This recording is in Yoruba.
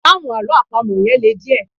Ìdáhùn àlọ́ àpamọ́ yẹn le díẹ̀